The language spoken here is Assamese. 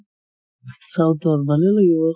south ৰ ভালে লাগিব